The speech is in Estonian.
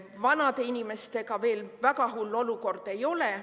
Vanade inimestega veel väga hull olukord ei ole.